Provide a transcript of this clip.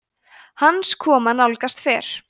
hans koma nálgast fer